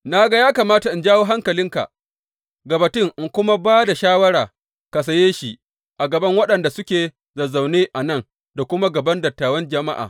Na ga ya kamata in jawo hankalinka ga batun in kuma ba da shawara ka saye shi a gaban waɗannan da suke zazzaune a nan da kuma a gaban dattawan jama’a.